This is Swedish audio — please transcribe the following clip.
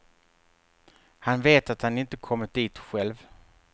Han vet att han inte kommit dit själv.